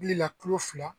Bilila kilo fila